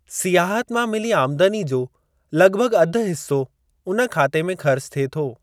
सियाहत मां मिली आमदनी जो लॻिभॻि अधि हिस्सो उन खाते में ख़र्चु थिए थो।